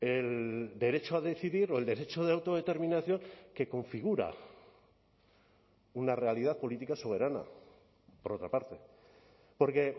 el derecho a decidir o el derecho de autodeterminación que configura una realidad política soberana por otra parte porque